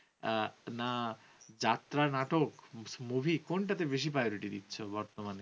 আহ না যাত্রা, নাটক, movie কোনটাকে বেশি priority দিচ্ছ বর্তমানে